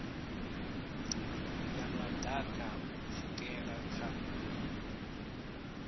ya maḓaka u pfukela kha